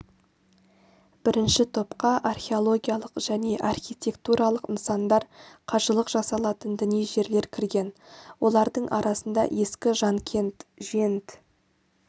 бірінші топқа археологиялық және архитектуралық нысандар қажылық жасалатын діни жерлер кірген олардың арасында ескі жанкент жент